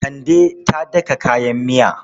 Kande ta daka kayan miya.